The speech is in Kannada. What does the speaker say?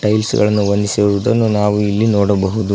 ಹೀಲ್ಸ್ ಗಳನ್ನು ಹೊಂದಿಸಿರುವುದನ್ನು ನಾವು ಇಲ್ಲಿ ನೋಡಬಹುದು.